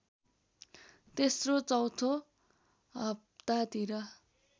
तेस्रो चौथो हप्तातिर